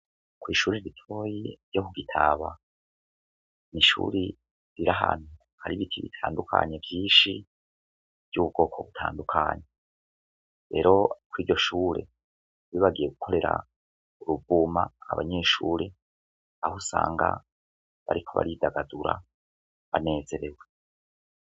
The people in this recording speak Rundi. Kw'ishuri ritoyi ryo ku gitaba ni ishuri rira hanu ari ibiti bitandukanye vyinshi ry'ubwoko butandukanyi ero ko'iryo shure bibagiye gukorera urubuma abanyeshure aho usanga bariko baridagadura nezerewe.